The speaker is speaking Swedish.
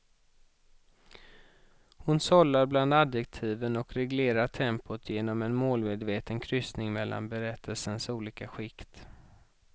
Hon sållar bland adjektiven och reglerar tempot genom en målmedveten kryssning mellan berättelsens olika skikt.